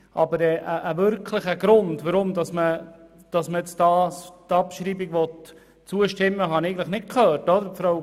Aber einen wirklichen Grund, weshalb man der Abschreibung zustimmen will, habe ich eigentlich nicht gehört.